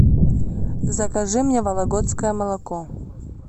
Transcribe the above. закажи мне вологодское молоко